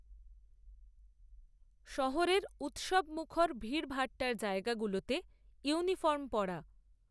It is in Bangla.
শহরের, উত্সবমুখর ভিড়ভাট্টার জায়গা গুলোতে, ইউনিফর্ম পরা